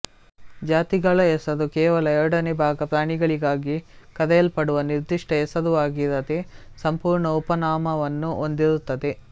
ಜಾತಿಗಳ ಹೆಸರು ಕೇವಲ ಎರಡನೆ ಭಾಗ ಪ್ರಾಣಿಗಳಿಗಾಗಿ ಕರೆಯಲ್ಪಡುವ ನಿರ್ಧಿಷ್ಟ ಹೆಸರುವಾಗಿರದೆ ಸಂಪೂರ್ಣ ಉಪನಾಮವನ್ನು ಹೊಂದಿರುತ್ತದೆ